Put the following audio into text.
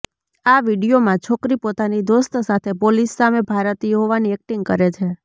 આ વીડિયોમાં છોકરી પોતાની દોસ્ત સાથે પોલીસ સામે ભારતીય હોવાની એક્ટિંગ કરે છે